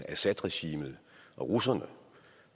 at assadregimet og russerne